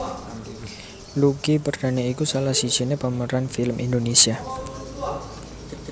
Lucky Perdana iku salah sijiné pemeran film Indonesia